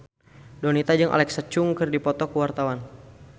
Donita jeung Alexa Chung keur dipoto ku wartawan